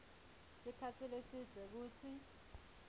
sikhatsi lesidze kutsi